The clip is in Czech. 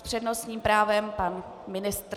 S přednostním právem pan ministr.